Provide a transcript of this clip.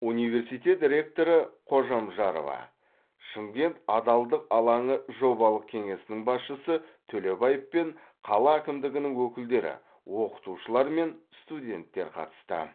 университет ректоры қожамжарова шымкент адалдық алаңы жобалық кеңесінің басшысы төлебаев пен қала әкімдігінің өкілдері оқытушылар мен студенттер қатысты